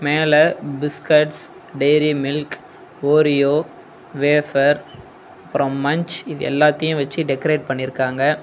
மேல biscuits Dairy Milk Oreo wafer அப்றோ Munch இது எல்லாத்தையு வச்சு டெக்கரேட் பண்ணிருக்காங்க.